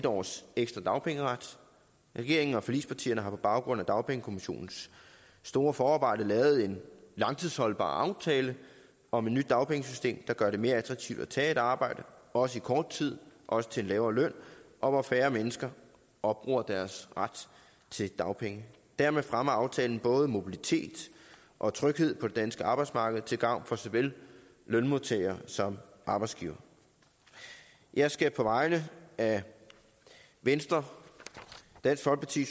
års ekstra dagpengeret regeringen og forligspartierne har på baggrund af dagpengekommissionens store forarbejde lavet en langtidsholdbar aftale om et nyt dagpengesystem der gør det mere attraktivt at tage et arbejde også i kort tid også til en lavere løn og hvor færre mennesker opbruger deres ret til dagpenge dermed fremmer aftalen både mobilitet og tryghed på det danske arbejdsmarked til gavn for såvel lønmodtagere som arbejdsgivere jeg skal på vegne af venstre dansk folkeparti